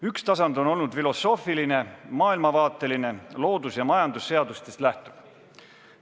Üks tasand on olnud filosoofiline, maailmavaateline, loodus- ja majandusseadustest lähtuv.